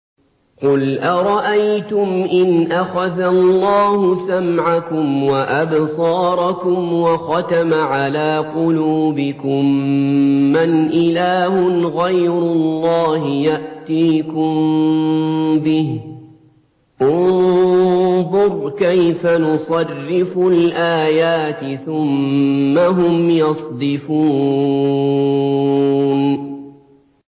قُلْ أَرَأَيْتُمْ إِنْ أَخَذَ اللَّهُ سَمْعَكُمْ وَأَبْصَارَكُمْ وَخَتَمَ عَلَىٰ قُلُوبِكُم مَّنْ إِلَٰهٌ غَيْرُ اللَّهِ يَأْتِيكُم بِهِ ۗ انظُرْ كَيْفَ نُصَرِّفُ الْآيَاتِ ثُمَّ هُمْ يَصْدِفُونَ